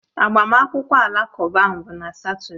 Agbamakwụkwọ Alakụba ahụ bụ na Satọde